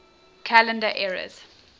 calendar eras